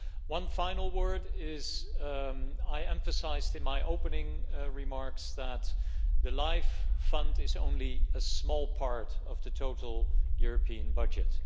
One final word I emphasised in my opening remarks that the LIFE fund is only a small part of the total European budget.